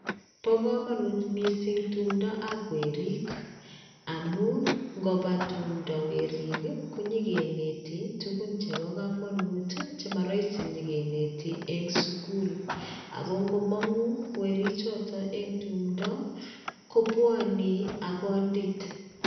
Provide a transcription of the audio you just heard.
Bo komonut missing tumtap werik amun ikopa tumpto werik koyokinete tukuu chepo komonut chemoroisi yokineti en sukul ako ingomongu weri choton en tumpto kobwonii ak kondit.